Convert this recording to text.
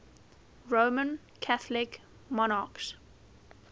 roman catholic monarchs